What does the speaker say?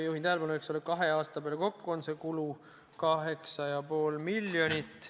Juhin tähelepanu, et kahe aasta peale kokku on see kulu 8,5 miljonit.